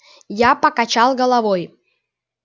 я покачал головой